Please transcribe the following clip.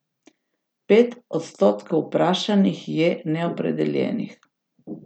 Pet odstotkov vprašanih je neopredeljenih.